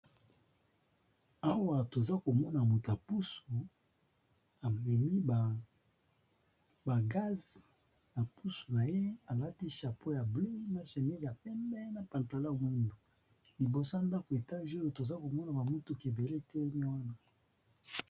Awa toza komona motu ya pusu amemi ba gaz na pusu na ye alati chapeau ya bleu, na chemise ya pembe, na pantalon ya mwindu liboso ndako etage oyo toza komona ba mutuka ebele etelemi wana.